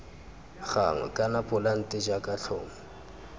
gagwe kana polante jaaka tlhomo